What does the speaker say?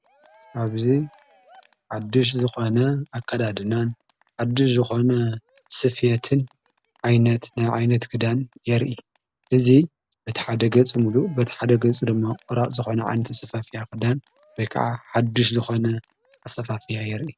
ኣብዙይ ሓድሽ ዝኾነ ኣከዳድናን ሓድሽ ዝኾነ ስፌትን ዓይነት ክዳን የርኢ እዙ በቲ ሓደገጽ ምሉ በቲ ሓደገጹ ዶማ ቑራእ ዝኾነ ዓይንተ ሰፋፍያ ኽዳን ወይ ከዓ ሓድሽ ዝኾነ ኣሰፋፍያ የርኢ።